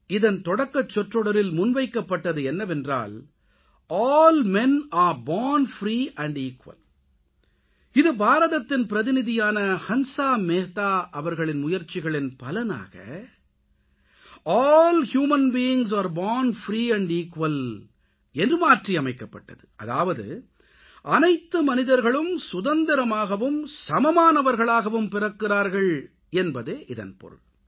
இதன் தொடக்கச் சொற்றொடொரில் முன்வைக்கப்பட்டது என்னவென்றால் all men are born free and equal இது பாரதத்தின் பிரதிநிதியான ஹன்ஸா மேத்தா அவர்களின் முயற்சிகளின் பலனாக all human beings are born free and equal என்று மாற்றி அமைக்கப்பட்டது அதாவது அனைத்து மனிதர்களும் சுதந்திரமாகவும் சமமானவர்களாகவும் பிறக்கிறார்கள் என்பதே இதன் பொருள்